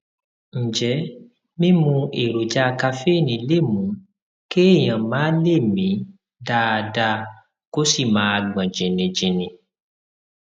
ǹjẹ mímu èròjà kaféènì lè mú kéèyàn má lè mí dáadáa kó sì máa gbọn jìnnìjìnnì